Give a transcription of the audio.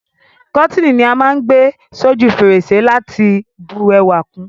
Kọ́tíni ni á má n gbé s'óju fèrèsé láti bu ẹwà kun